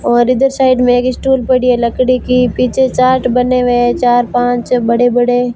और इधर साइड में एक स्टूल पड़ी है लकड़ी की पीछे चाट बने हुए चार पांच बड़े बड़े।